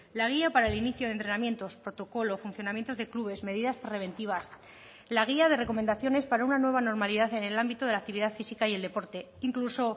la guía para el inicio de entrenamientos protocolo funcionamientos de clubes medidas preventivas la guía de recomendaciones para una nueva normalidad en el ámbito de la actividad física y el deporte incluso